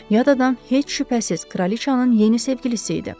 Yad adam heç şübhəsiz kraliçanın yeni sevgilisi idi.